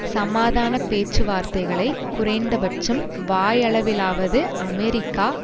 சமாதான பேச்சுவார்த்தைகளை குறைந்தபட்சம் வாயளவிலாவது அமெரிக்கா